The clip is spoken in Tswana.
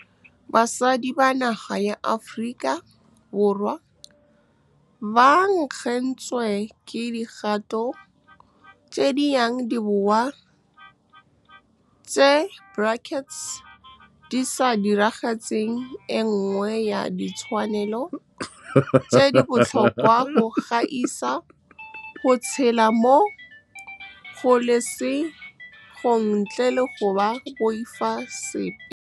Basadi ba naga ya Aforika Borwa ba nkgetswe ke dikgato tse di yang di boa tse [, di sa diragatseng e nngwe ya ditshwanelo tse di botlhokwa go gaisa - go tshela mo kgololesegong ntle le go boifa sepe. Basadi ba naga ya Aforika Borwa ba nkgetswe ke dikgato tse di yang di boa tse [, di sa diragatseng e nngwe ya ditshwanelo tse di botlhokwa go gaisa - go tshela mo kgololesegong ntle le go boifa sepe.